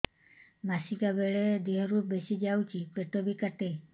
ମାସିକା ବେଳେ ଦିହରୁ ବେଶି ଯାଉଛି ପେଟ ବି କାଟେ